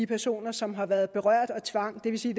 personer som har været berørt af tvang det vil sige